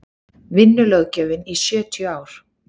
vinnulöggjöfin í sjötíu ár